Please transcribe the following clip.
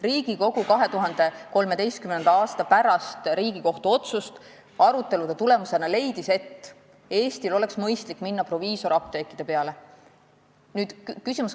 Riigikogu leidis pärast Riigikohtu 2013. aasta otsust arutelude tulemusena, et Eestil oleks mõistlik minna proviisorapteekidele üle.